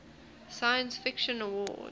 science fiction awards